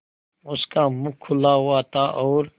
उसका मुख खुला हुआ था और